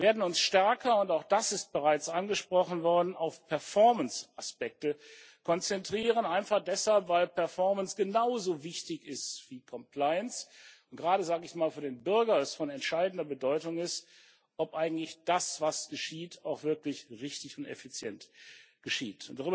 Wir werden uns stärker auch das ist bereits angesprochen worden auf Performance Aspekte konzentrieren, einfach deshalb, weil Performance genauso wichtig ist wie Compliance und es gerade sage ich mal für den Bürger von entscheidender Bedeutung ist, ob eigentlich das, was geschieht, auch wirklich richtig und effizient geschieht.